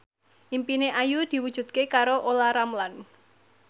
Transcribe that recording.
impine Ayu diwujudke karo Olla Ramlan